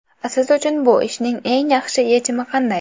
Siz uchun bu ishning eng yaxshi yechimi qanday?